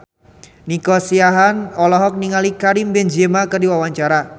Nico Siahaan olohok ningali Karim Benzema keur diwawancara